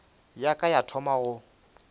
ya ka ya thoma go